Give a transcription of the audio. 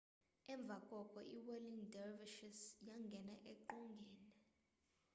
emva koko iwhirling dervishes yangena eqongeni